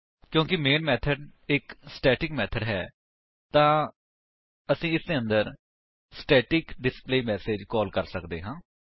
ਕਿਉਂਕਿ ਮੈਨ ਇੱਕ static method ਹੈ ਤਾਂ ਅਸੀ ਇਸਦੇ ਅੰਦਰ ਸਟੈਟਿਕ ਡਿਸਪਲੇਮੈਸੇਜ ਕਾਲ ਕਰ ਸੱਕਦੇ ਹਾਂ